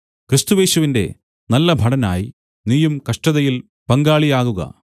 ക്രിസ്തുയേശുവിന്റെ നല്ല ഭടനായി നീയും കഷ്ടതയിൽ പങ്കാളിയാകുക